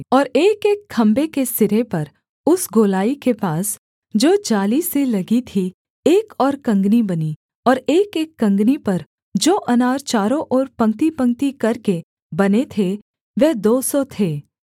और एकएक खम्भे के सिरे पर उस गोलाई के पास जो जाली से लगी थी एक और कँगनी बनी और एकएक कँगनी पर जो अनार चारों ओर पंक्तिपंक्ति करके बने थे वह दो सौ थे